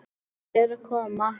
Matti er að koma!